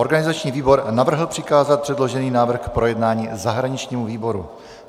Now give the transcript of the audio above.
Organizační výbor navrhl přikázat předložený návrh k projednání zahraničnímu výboru.